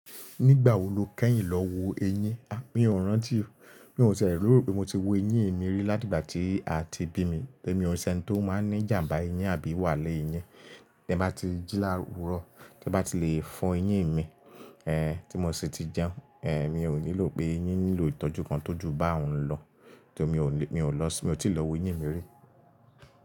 Nígbà wo lo kẹ́yìn lọ wo eyín? À, mi ò rántí, mi ò tie lerò pé mo ti wo eyín mi rí láti ìgbà tí a ti bí mi. Emi o se ẹni tí ó máa ń ní ìjàmbá eyín àbí wàhála eyín, tí ẹ bá ti jí láwúro, tí ẹ bá ti lè fọ eyín mi, ẹ, tí mo sì ti jẹun, ẹ, mi ò nílò pé eyín nílò ìtọ́jú kan tó ju bá òún lọ. Tori mo lè, mi ò lọ sí, mo ti lọ wo eyín mi rí.